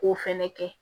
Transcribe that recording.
K'o fɛnɛ kɛ